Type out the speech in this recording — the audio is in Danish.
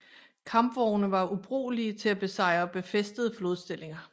Kampvogne var ubrugelige til at besejre befæstede flodstillinger